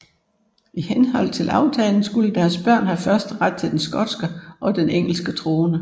I henhold til aftalen skulle deres børn have førsteret til den skotske og den engelske trone